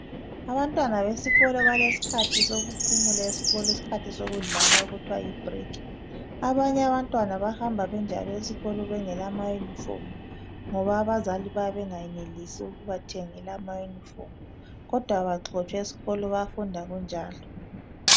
Abantwana besikolo balesikhathi sokudlala okuthiwa yibreak abanye abantwana bayahamba benjalo esikolo bengela mayunifomu ngoba bayabe bengayebelisi ukuthenga kodwa abaxotshwa esikolo bayafunda kunjalo